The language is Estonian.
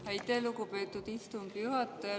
Aitäh, lugupeetud istungi juhataja!